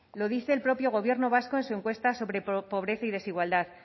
lo dice el propio gobierno vasco en su encuesta sobre pobreza y desigualdad